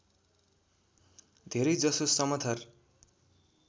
धेरै जसो समथर